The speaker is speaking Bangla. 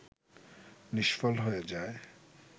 নিষ্ফল হয়ে যায়